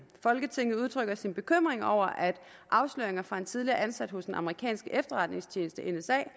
folketinget udtrykker sin bekymring over at afsløringer fra en tidligere ansat hos den amerikanske efterretningstjeneste nsa